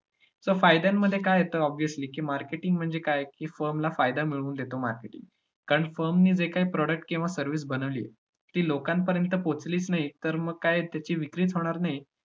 तर फायद्यांमध्ये काय येतं obviously की marketing म्हणजे काय, की firm ला फायदा मिळवून देतो marketing कारण firm ने जे काही product किंवा service बनवली ती लोकांपर्यंत पोहचलीच नाही, तर मग काय त्याची विक्रीच होणार नाही. आणि